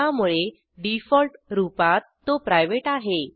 त्यामुळे डिफॉल्ट रूपात तो प्रायव्हेट आहे